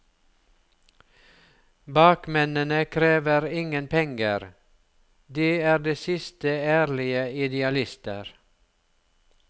Bakmennene krever ingen penger, de er de siste ærlige idealister.